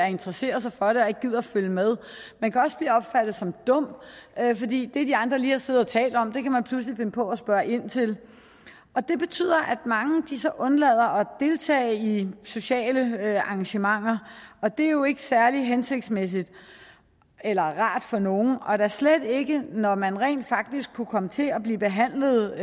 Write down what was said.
interesserer sig for det og ikke gider at følge med man kan også blive opfattet som dum fordi det de andre lige har siddet og talt om kan man pludselig finde på at spørge ind til det betyder at mange undlader at deltage i sociale arrangementer og det er jo ikke særlig hensigtsmæssigt eller rart for nogen og da slet ikke når man rent faktisk kunne komme til at blive behandlet